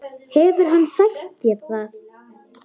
Hefur hann sagt þér það?